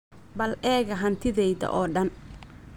Bal eega hantidayda oo dhan